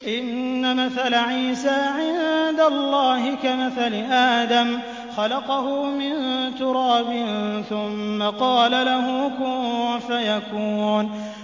إِنَّ مَثَلَ عِيسَىٰ عِندَ اللَّهِ كَمَثَلِ آدَمَ ۖ خَلَقَهُ مِن تُرَابٍ ثُمَّ قَالَ لَهُ كُن فَيَكُونُ